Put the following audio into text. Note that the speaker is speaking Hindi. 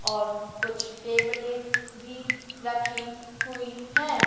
और कुछ टेबलें भी रखी हुई हैं।